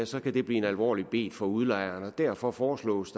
så kan det blive en alvorlig bet for udlejeren derfor foreslås